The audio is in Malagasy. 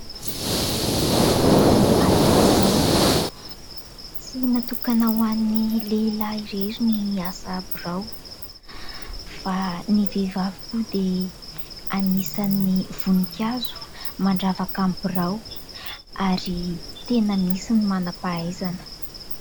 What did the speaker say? Ny asa birao. Tsy natokana ho an'ny lehilahy irery ny asa birao fa ny vehivavy koa dia anisan'ny voninkazo mandravaka ny birao ary tena misy ny manam-pahaizana.